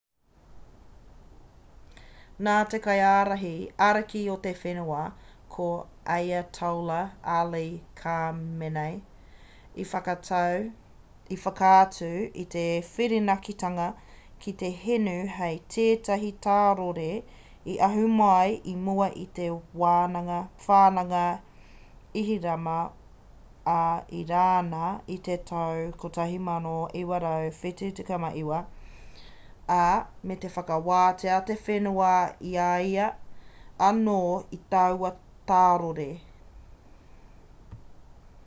nā te kaiārahi ariki o te whenua a ayatollah ali khamenei i whakaatu i te whirinakitanga ki te hinu hei tētahi tārore i ahu mai i mua i te whananga ihirama a irāna i te tau 1979 ā me whakawātea te whenua i a ia anō i taua tārore